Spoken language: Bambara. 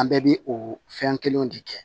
An bɛɛ bi o fɛn kelenw de kɛ